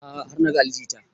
A'a har na ga ali jita